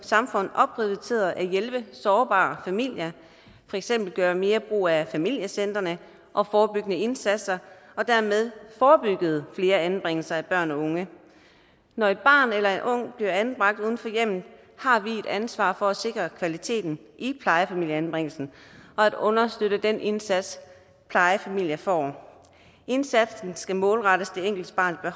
samfund opprioriterede at hjælpe sårbare familier for eksempel gøre mere brug af familiecentrene og forebyggende indsatser og dermed forebyggede flere anbringelser af børn og unge når et barn eller en ung bliver anbragt uden for hjemmet har vi et ansvar for at sikre kvaliteten i plejefamilieanbringelsen og at understøtte den indsats plejefamilien får indsatsen skal målrettes det enkelte barns